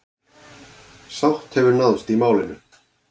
Sátt hefur náðst í málinu.